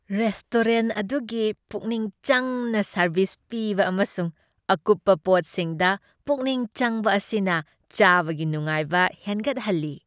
Restaurant ꯑꯗꯨꯒꯤ ꯄꯨꯛꯅꯤꯡ ꯆꯪꯅ ꯁꯔꯕꯤꯁ ꯄꯤꯕ ꯑꯃꯁꯨꯡ ꯑꯀꯨꯞꯄ ꯄꯣꯠꯁꯤꯡꯗ ꯄꯨꯛꯅꯤꯡ ꯆꯪꯕ ꯑꯁꯤꯅ ꯆꯥꯕꯒꯤ ꯅꯨꯡꯉꯥꯏꯕ ꯍꯦꯟꯒꯠꯍꯜꯂꯤ ꯫